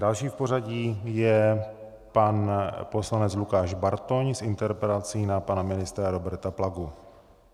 Další v pořadí je pan poslanec Lukáš Bartoň s interpelací na pana ministra Roberta Plagu.